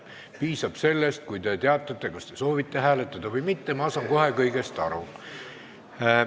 Piisab sellest, kui te teatate, kas te soovite hääletada või mitte – ma saan kohe kõigest aru.